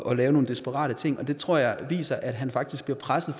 at lave nogle desperate ting og det tror jeg viser at han faktisk bliver presset